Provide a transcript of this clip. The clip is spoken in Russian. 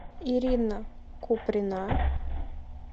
ирина куприна